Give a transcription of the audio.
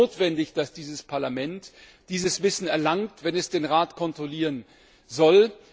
Es ist notwendig, dass dieses Parlament dieses Wissen erlangt, wenn es den Rat kontrollieren soll.